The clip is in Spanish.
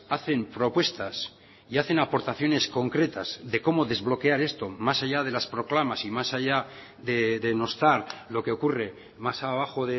hacen propuestas y hacen aportaciones concretas de cómo desbloquear esto más allá de las proclamas y más allá denostar lo que ocurre más abajo